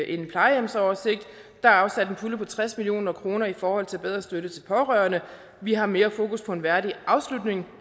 en plejehjemsoversigt der er afsat en pulje på tres million kroner i forhold til bedre støtte til pårørende vi har mere fokus på en værdig afslutning